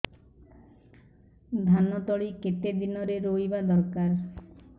ଧାନ ତଳି କେତେ ଦିନରେ ରୋଈବା ଦରକାର